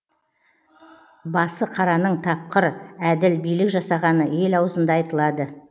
басықараның тапқыр әділ билік жасағаны ел аузында айтылады